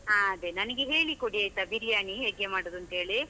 ಹಾ ಅದೇ, ನನಗೆ ಹೇಳಿ ಕೊಡಿ ಆಯ್ತಾ ಬಿರಿಯಾನಿ ಹೇಗೆ ಮಾಡುದು ಅಂತ್ಹೇಳಿ?